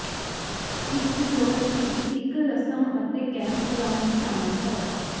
ਇਸ ਰਿਜੋਰਟ ਵਿਚ ਇਕ ਰਸਮ ਅਤੇ ਕੈਂਪਗ੍ਰਾਉਂਡ ਸ਼ਾਮਲ ਹੈ